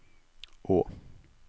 å